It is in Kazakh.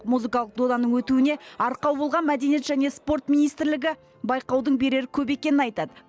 музыкалық доданың өтуіне арқау болған мәдениет және спорт министрлігі байқаудың берері көп екенін айтады